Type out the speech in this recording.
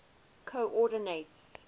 coordinates